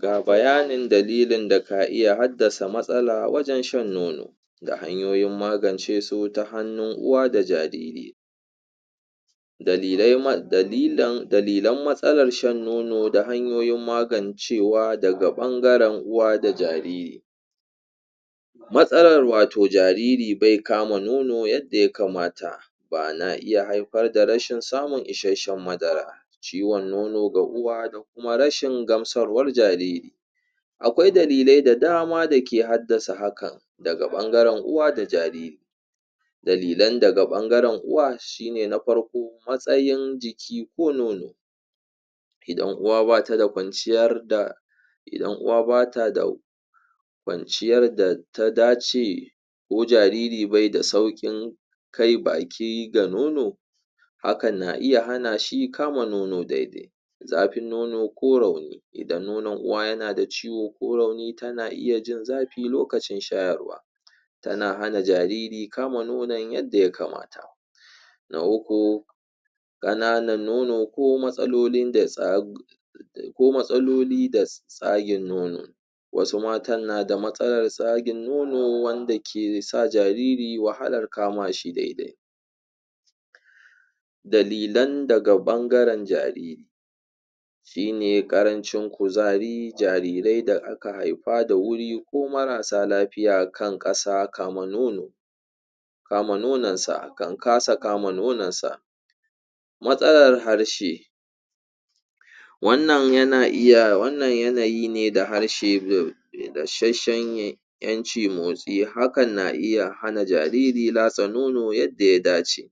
ga bayanin dalilin daka iya haddasa matsala wajan shan nono da hanyoyin magance su ta hanunu uwa da jariri dalilan matsalar shan nono da hanyoyin magancewa daga ɓangaran uwa da jariri matsalar wato jariri be kama nono yadda ya kamata bana iya haifar da rashin samun ishasshan madara ciwan nono ga uwa da kuma rashin gamsarwar jariri aƙwai dalilai da dama dake haddasa hakan daga ɓangaran uwa da jariri dalilan daga ɓangaran uwa shine na farko matsayin jiki ko nono idan uwa bata da ƙwanciyar data dace ko jariri be da sauƙin kai baki ga nono hakan na iya hanashi kama nono daidai zafin nono ko rauni idan nono uwa yana da ciwo ko rauni tana iya jin zafi lokacin shayarwa tana hana jariri kama nonon yadda ya kamata na uku kananan nono ko matsalolin da tsagin nono wasu mata nada matsalar tsagin nono wanda ke sa jariri wahalar kamashi daidai dalilan daga bangaran jariri shine ƙarancin kuzari jarirai da ka ahaifa da wuri ko marasa lafiya kan ƙasa kama nono kama nonon sa kan ƙasa kama nononsa matsalar harshe wannan yanayi ne da harshe dashasshan ƴanci motsi hakan na iya hana jariri latsa nono yadda ya dace